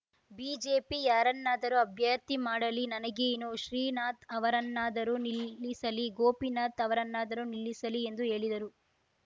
BJP ಯಾರನ್ನಾದರೂ ಅಭ್ಯರ್ಥಿ ಮಾಡಲಿ ನನಗೇನು ಶ್ರೀನಾಥ್‌ ಅವರನ್ನಾದರೂ ನಿಲ್ಲಿಸಲಿ ಗೋಪಿನಾಥ್‌ ಅವರನ್ನಾದರೂ ನಿಲ್ಲಿಸಲಿ ಎಂದು ಹೇಳಿದರು